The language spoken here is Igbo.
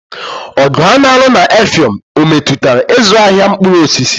Ọgụ a na-alụ na Effium ọ metụtara ịzụ ahịa mkpụrụ osisi?